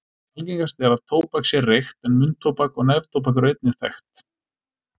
Algengast er að tóbak sé reykt en munntóbak og neftóbak eru einnig þekkt.